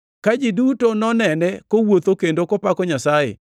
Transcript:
Ka ji duto nonene kowuotho kendo kopako Nyasaye,